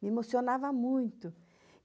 Me emocionava muito.